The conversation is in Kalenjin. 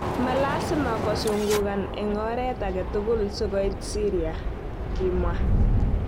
Malasima kosungukan eng oreet agetugul. sikoit Syria",kimwa.